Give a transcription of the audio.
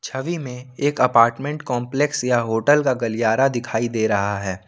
छवि में एक apartment complex या होटल का गलियारा दिखाई दे रहा है।